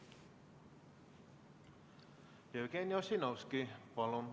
Jevgeni Ossinovski, palun!